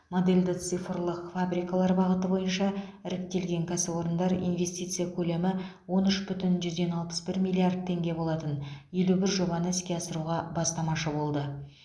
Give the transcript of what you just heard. модельді цифрлық фабрикалар бағыты бойынша іріктелген кәсіпорындар инвестиция көлемі он үш бүтін жүзден алпыс бір миллиард теңге болатын елу бір жобаны іске асыруға бастамашы болды